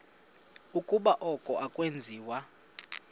ukuba oku akwenziwa